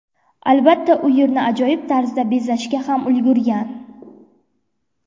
Albatta, u yerni ajoyib tarzda bezashga ham ulgurgan.